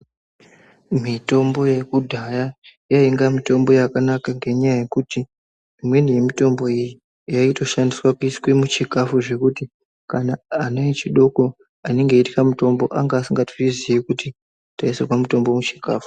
Mitombo yekudhaya yainga mitombo yakanaka ngenyaa yekuti imweni yemitombo iyi yaitoshandiswa kuise muchikafu zvekuti kana ana echidoko anenge eitya mitombo anga asikatozviziyi kuti taisirwa mutombo muchikafu.